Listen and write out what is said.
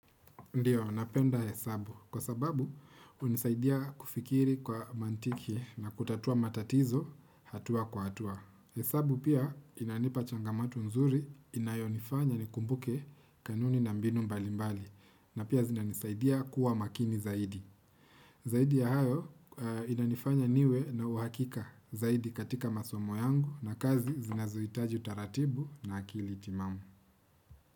Ndiyo, napenda hesabu kwa sababu unisaidia kufikiri kwa mantiki na kutatua matatizo hatua kwa hatua. Hesabu pia inanipa changamatu nzuri inayonifanya nikumbuke kanuni na mbinu mbali mbali na pia zinanisaidia kuwa makini zaidi. Zaidi ya hayo inanifanya niwe na uhakika zaidi katika masomo yangu na kazi zinazoitaji utaratibu na akili timamu.